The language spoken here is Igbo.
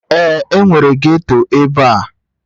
Ee, enwere ghetto ebe a